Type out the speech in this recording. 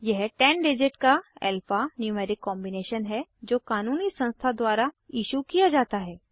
यह 10 डिजिट का alpha numeric combination है जो क़ानूनी संस्था द्वारा इशू किया जाता है